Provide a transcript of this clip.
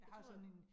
Jeg tror